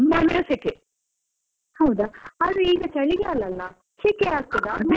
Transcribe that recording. ಹೌದಾ? ಆದ್ರೆ ಈಗ ಚಳಿಗಾಲ ಅಲ್ಲ, ಶೆಕೆ ಆಗ್ತದಾ .